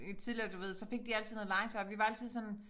Øh tidligere du ved så fik de altid noget legetøj og vi var altid sådan